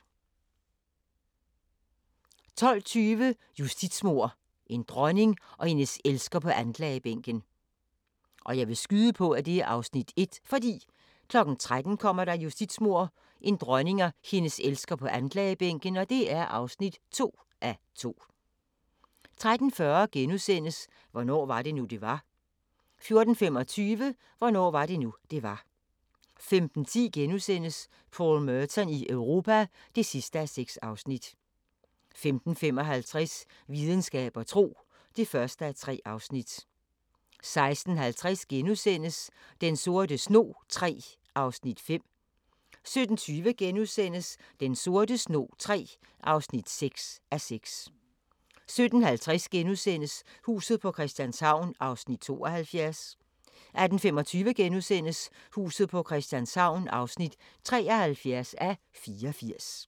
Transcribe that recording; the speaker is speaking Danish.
12:20: Justitsmord – en dronning og hendes elsker på anklagebænken 13:00: Justitsmord – en dronning og hendes elsker på anklagebænken (2:2) 13:40: Hvornår var det nu, det var? * 14:25: Hvornår var det nu, det var? 15:10: Paul Merton i Europa (6:6)* 15:55: Videnskab og tro (1:3) 16:50: Den sorte snog III (5:6)* 17:20: Den sorte snog III (6:6)* 17:50: Huset på Christianshavn (72:84)* 18:25: Huset på Christianshavn (73:84)*